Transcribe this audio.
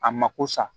A mako sa